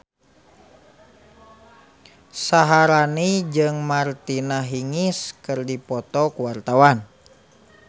Syaharani jeung Martina Hingis keur dipoto ku wartawan